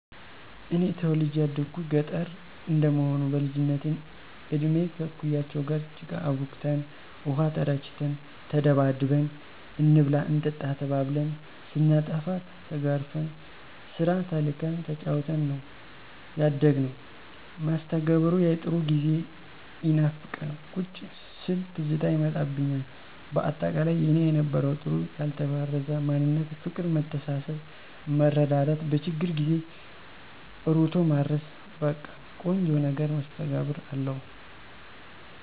እኔ ተወልጀ ያደኩት ገጠረ እንደመሆኑ በልጅነት እድሜ ከእኩያወቸ ጋር ጭቃ አቡክተን፣ ውሃ ተራጭተን፣ ተደባድበን፣ እንብላ እንጠጣ ተባብልን፣ ስናጠፋ ተገርፈን፣ ስራ ተልከን ተጫውተን ነው ያደግነው። መስተጋብሩ ያጥሩ ጊዜ ይናፍቃል ቁጭ ስል ትዝታ ይመጣብኞል በአጠቃላይ የኔ የነበረው ጥሩ ያልተበረዘ ማንነት ፍቅር መተሳሰብ መረዳዳት በችግር ጊዜ እሮጦ መድረስ በቀ ቆንጆ ነገር መስተጋብር አለው።